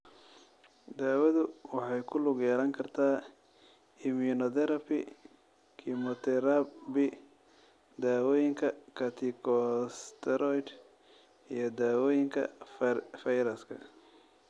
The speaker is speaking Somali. Daawadu waxay ku lug yeelan kartaa immunotherapy, kiimoterabi, dawooyinka corticosteroid iyo daawooyinka fayraska.